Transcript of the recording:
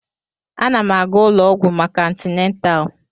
Ana m aga ụlọ ọgwụ maka antịnatal